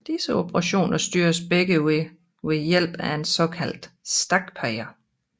Disse operationer styres begge ved ved hjælp af en såkaldt stakpeger